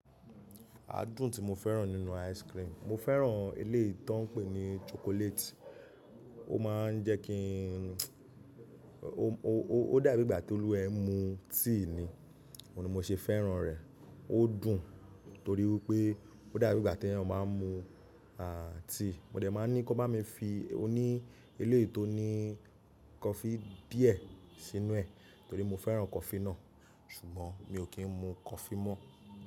Adún tí mo fẹ́ràn nínú ice cream, mo fẹ́ràn eléyìí tò ń pè ní chocolate. Ó maa ń jẹ́ kí n ó dà bí ìgbà tí olúwa ẹ́ ń mu tea ni. Ó ni mo ṣe fẹ́ràn rẹ̀. Ó dùn torí wipé ó dà bí ìgbà tí èèyàn máa ń mu à tea. Mo dẹ̀ máa ní kí wọ́n bá mi fi oní eléyìí tó ní coffee díẹ̀ sínú ẹ̀ torí mo fẹ́ràn coffee náà, ṣùgbọ́n mi ò kí ń mu coffee mọ́.